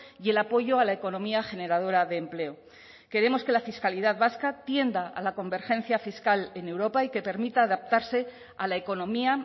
y el apoyo a la economía generadora de empleo queremos que la fiscalidad vasca tienda a la convergencia fiscal en europa y que permita adaptarse a la economía